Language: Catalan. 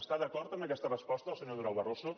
està d’acord amb aquesta resposta del senyor durão barroso